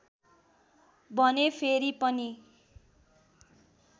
भने फेरि पनि